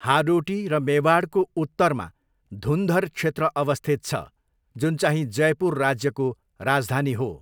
हाडोटी र मेवाडको उत्तरमा धुन्धर क्षेत्र अवस्थित छ, जुनचाहिँ जयपुर राज्यको राजधानी हो।